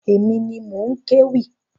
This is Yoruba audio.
Èmi ni mò ń kéwì.